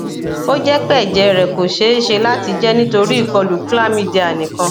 o jẹ pe ẹjẹ rẹ ko ṣee ṣe lati jẹ nitori ikolu chlamydia nikan